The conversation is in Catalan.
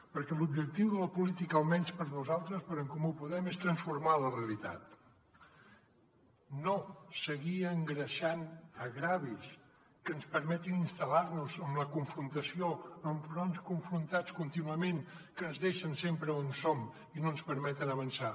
perquè l’objectiu de la política almenys per nosaltres per en comú podem és transformar la realitat no seguir engreixant greuges que ens permetin instal·lar nos en la confrontació amb fronts confrontats contínuament que ens deixen sempre on som i no ens permeten avançar